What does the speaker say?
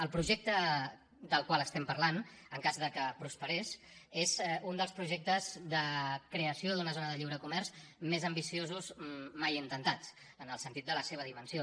el projecte del qual estem parlant en cas que prosperés és un dels projectes de creació d’una zona de lliure comerç més ambiciosos mai intentats en el sentit de la seva dimensió